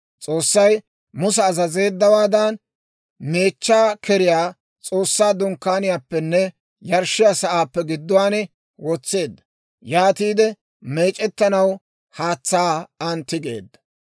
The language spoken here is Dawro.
S'oossay Musa azazeeddawaadan, meechchaa keriyaa S'oossaa Dunkkaaniyaappenne yarshshiyaa sa'aappe gidduwaan wotseedda. Yaatiide meec'ettanaw haatsaa an tigeedda.